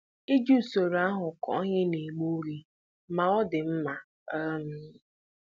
Iji usoro ahụ kụọ ihe na-egbu oge ma ọ dị mma um